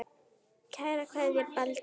Kær kveðja, Baldur